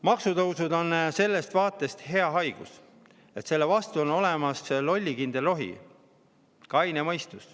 Maksutõusud on sellest vaatest hea haigus, et selle vastu on olemas lollikindel rohi: kaine mõistus.